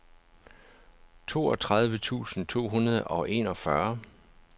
toogtredive tusind to hundrede og enogfyrre